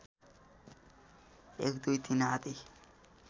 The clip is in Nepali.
१ २ ३ आदि